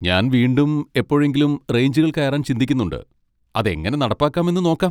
ഞാൻ വീണ്ടും എപ്പോഴെങ്കിലും റേഞ്ചുകൾ കയറാൻ ചിന്തിക്കുന്നുണ്ട്, അത് എങ്ങനെ നടപ്പാക്കാമെന്ന് നോക്കാം.